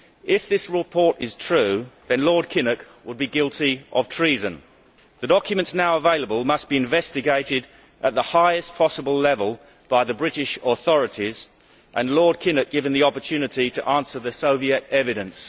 If this report is true, then Lord Kinnock would be guilty of treason. The documents now available must be investigated at the highest possible level by the British authorities and Lord Kinnock given the opportunity to answer the Soviet evidence.